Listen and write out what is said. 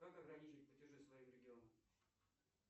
как ограничить платежи своим регионам